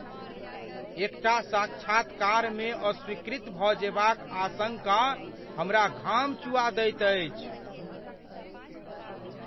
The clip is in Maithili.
एकटा साक्षात्कारमे अस्वीकृत भऽ जेबाक आशंका हमरा घाम चुआ दैत अछि।